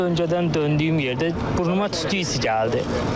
öncədən döndüyüm yerdə burnuma tüstü hissi gəldi.